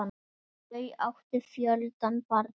Þau áttu fjölda barna.